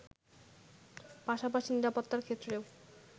পাশাপাশি নিরাপত্তার ক্ষেত্রেও